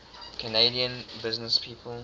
canadian businesspeople